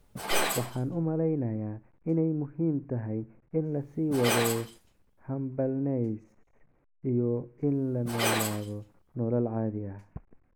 "Waxaan u maleynayaa inay muhiim tahay in la sii wado humbleness iyo in la noolaado nolol caadi ah."